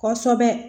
Kɔsɛbɛ